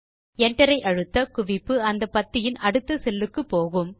Enter ஐ அழுத்த குவிப்பு அந்த பத்தியின் அடுத்த செல் க்கு போகும்